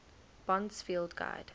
bond's field guide